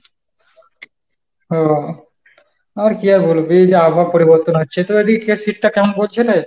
আহ আর কি আর বলবো এই যে আবহাওয়া পরিবর্তন হচ্ছে তো এদিকে শীতটা কেমন পড়ছে রে?